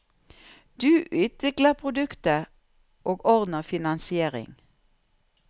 Du utvikler produktet, og ordner finansiering.